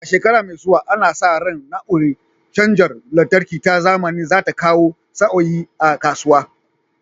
A shekara mai zuwa, ana sa ran na'urar cajar lantarki ta zamani za ta kawo sauyi a kasuwa.